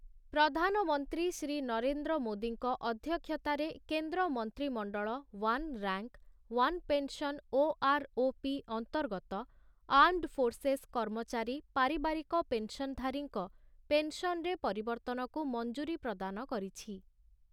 ପ୍ରଧାନମନ୍ତ୍ରୀ ଶ୍ରୀ ନରେନ୍ଦ୍ର ମୋଦୀଙ୍କ ଅଧ୍ୟକ୍ଷତାର କେନ୍ଦ୍ର ମନ୍ତ୍ରୀମଣ୍ଡଳ one rank, one pension OROP ଅନ୍ତର୍ଗତ ଆର୍ମଡ୍ ଫୋର୍ସେସ କର୍ମଚାରୀ ପାରିବାରିକ ପେନ୍ସନଧାରୀଙ୍କ ପେନ୍ସନରେ ପରିବର୍ତ୍ତନକୁ ମଞ୍ଜୁରି ପ୍ରଦାନ କରିଛି ।